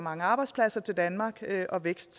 arbejdspladser til danmark og vækst